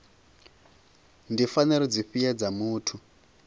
ndi pfanelo dzifhio dza muthu